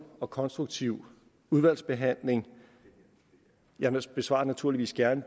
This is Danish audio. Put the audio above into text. og konstruktiv udvalgsbehandling jeg besvarer naturligvis gerne